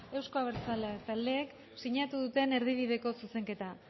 euzko abertzaleak taldeek sinatu duten erdibideko zuzenketa